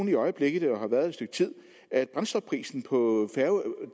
i øjeblikket og har været det et stykke tid at brændstofprisen på